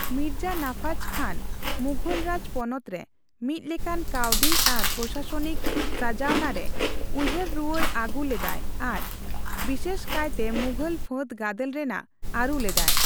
ᱢᱤᱨᱡᱟ ᱱᱟᱯᱷᱟᱡᱽ ᱠᱷᱟᱱ ᱢᱩᱷᱚᱞ ᱨᱟᱡᱽ ᱯᱚᱱᱚᱛ ᱨᱮ ᱢᱤᱫ ᱞᱮᱠᱟᱱ ᱠᱟᱹᱣᱰᱤ ᱟᱨ ᱯᱨᱚᱥᱟᱥᱚᱱᱤᱠ ᱥᱟᱡᱟᱣᱱᱟ ᱨᱮ ᱩᱭᱦᱟᱹᱨᱮ ᱨᱩᱣᱟᱹᱲ ᱟᱹᱜᱩ ᱞᱮᱫᱟᱭ ᱟᱨ ᱵᱤᱥᱮᱥᱠᱟᱭᱛᱮ ᱢᱩᱜᱷᱚᱞ ᱯᱷᱟᱹᱫᱽ ᱜᱟᱫᱮᱞ ᱨᱮᱱᱟᱜ ᱟᱹᱨᱩ ᱞᱮᱫᱟᱭ ᱾